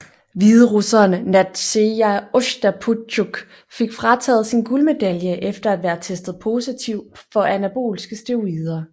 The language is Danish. Hviderusseren Nadzeja Ostaptjuk fik frataget sin guldmedalje efter at være testet positiv for anabolske steroider